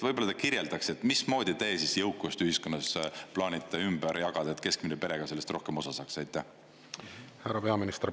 Võib-olla te kirjeldaks, et mismoodi te siis jõukust ühiskonnas plaanite ümber jagada, et keskmine pere ka sellest rohkem osa saaks?